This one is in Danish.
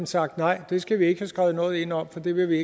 sagt nej det skal vi ikke have skrevet noget ind om for det vil vi